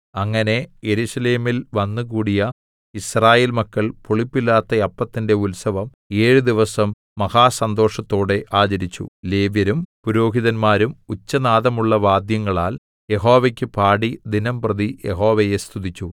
അങ്ങനെ യെരൂശലേമിൽ വന്നുകൂടിയ യിസ്രായേൽ മക്കൾ പുളിപ്പില്ലാത്ത അപ്പത്തിന്റെ ഉത്സവം ഏഴു ദിവസം മഹാസന്തോഷത്തോടെ ആചരിച്ചു ലേവ്യരും പുരോഹിതന്മാരും ഉച്ചനാദമുള്ള വാദ്യങ്ങളാൽ യഹോവയ്ക്ക് പാടി ദിനംപ്രതി യഹോവയെ സ്തുതിച്ചു